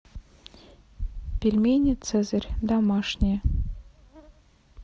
пельмени цезарь домашние